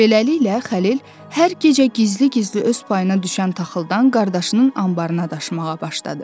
Beləliklə Xəlil hər gecə gizli-gizli öz payına düşən taxıldan qardaşının anbarına daşımağa başladı.